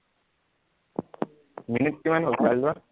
minute কিমান হল চাই লোৱা